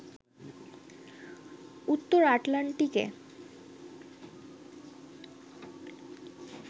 উত্তর আটলান্টিকে